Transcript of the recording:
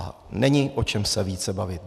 A není o čem se více bavit.